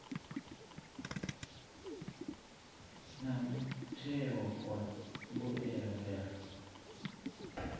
na mutheo wa mbuelo ya